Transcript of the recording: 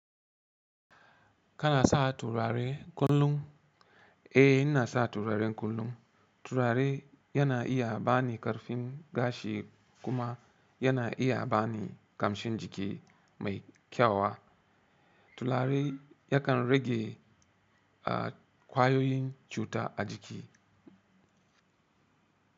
Kana sa turare kullum? Eh, ina sa turare kullum. Turare yana iya bani ƙarfin gashi kuma yana iya bani kamshin jiki mai kyau. Turare yakan rage ƙwayoyin cuta a jiki.